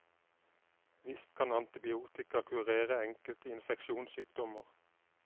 Visst kan antibiotika kurere enkelte infeksjonssykdommer.